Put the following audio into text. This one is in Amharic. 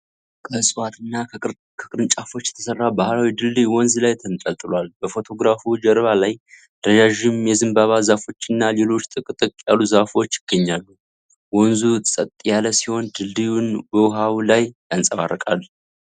ከዕፅዋትና ከቅርንጫፎች የተሰራ ባህላዊ ድልድይ ወንዝ ላይ ተንጠልጥሏል። በፎቶግራፉ ጀርባ ላይ ረዣዥም የዘንባባ ዛፎችና ሌሎች ጥቅጥቅ ያሉ ዛፎች ይገኛሉ። ወንዙ ጸጥ ያለ ሲሆን፣ ድልድዩን በውሃው ላይ ያንጸባርቃል።